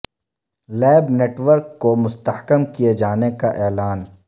lab network کو مستحکم کیے جانے کا اعلان